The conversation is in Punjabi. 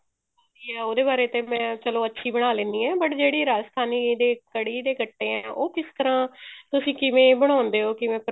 ਉਹਦੇ ਬਾਰੇ ਤੇ ਮੈਂ ਚਲੋ ਅੱਛੀ ਬਣਾ ਲੈਣੀ ਆ but ਜਿਹੜੀ ਰਾਜਸਥਾਨੀ ਦੇ ਕੜ੍ਹੀ ਦੇ ਗੱਟੇ ਐ ਉਹ ਕਿਸ ਤਰ੍ਹਾਂ ਤੁਸੀਂ ਕਿਵੇਂ ਬਣਾਉਂਦੇ ਹੋ ਕਿਵੇਂ